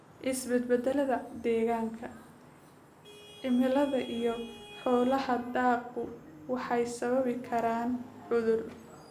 Isbeddellada deegaanka: Cimilada iyo xaaladaha daaqgu waxay sababi karaan cudur.